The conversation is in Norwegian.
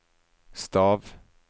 stav